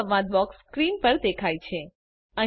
print સંવાદ box screen પર દેખાય છે